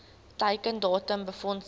teiken datum befondsing